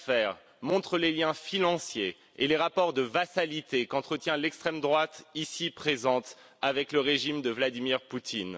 ces affaires montrent les liens financiers et les rapports de vassalité qu'entretient l'extrême droite, ici présente, avec le régime de Vladimir Poutine.